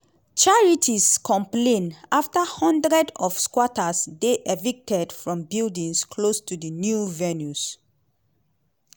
charities complain afta hundreds of squatters dey evicted from buildings close to di new venues.